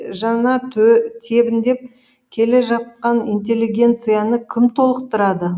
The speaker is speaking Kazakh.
жана тебіндеп келе жатқан интеллигенцияны кім толықтырады